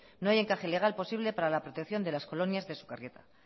no hay encaje legal posible para la protección de las colonias de sukarrieta